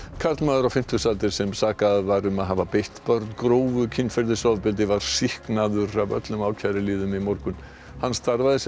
karlmaður á fimmtugsaldri sem sakaður var um að hafa beitt börn grófu kynferðisofbeldi var sýknaður af öllum ákæruliðum í morgun hann starfaði sem